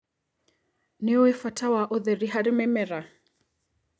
Nĩũĩ bata wa ũtheri harĩ mĩmera.